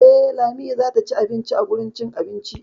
Eh, Lami zata ci abinci a wurin cin abinci.